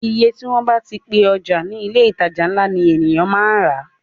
Iye tí wọ́n bá ti pe ọjà ní ilé ìtajà ńlá ni èyàn máa rà á.